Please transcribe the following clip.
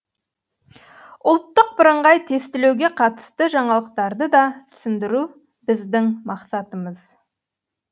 ұлттық бірыңғай тестілеуге қатысты жаңалықтарды да түсіндіру біздің мақсатымыз